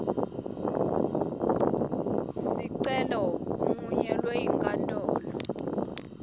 sicelo uncunyelwe yinkantolo